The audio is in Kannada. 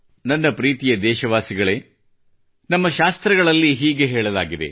ನನ್ನ ಪ್ರೀತಿಯ ದೇಶವಾಸಿಗಳೇ ನಮ್ಮ ಪುರಾಣಗಳಲ್ಲಿ ಹೀಗೆ ಹೇಳಲಾಗಿದೆ